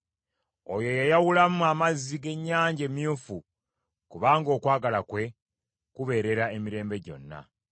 Oyo eyayawulamu amazzi g’Ennyanja Emyufu, kubanga okwagala kwe kubeerera emirembe gyonna.